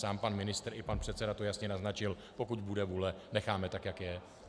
Sám pan ministr i pan předseda to jasně naznačil - pokud bude vůle, necháme tak, jak je.